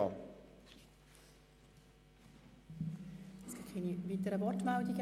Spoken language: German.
Wir haben keine weiteren Wortmeldungen.